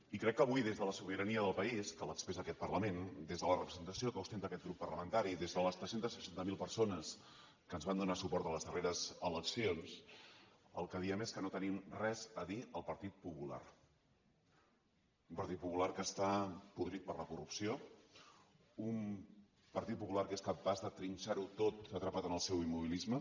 i crec que avui des de la sobirania del país que l’expressa aquest parlament des de la representació que ostenta aquest grup parlamentari des de les tres cents i seixanta miler persones que ens van donar suport a les darreres eleccions el que diem és que no tenim res a dir al partit popular un partit popular que està podrit per la corrupció un partit popular que és capaç de trinxar ho tot atrapat en el seu immobilisme